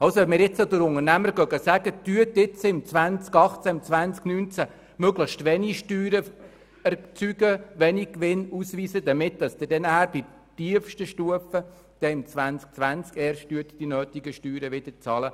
Wenn wir nun den Unternehmern sagen, dass sie in den Jahren 2018 und 2019 möglichst wenig Steuern erzeugen sollen, indem sie wenig Gewinn ausweisen, dann werden sie die notwendigen Steuern erst im Jahr 2020 bezahlen, und zwar dann auf tiefster Stufe.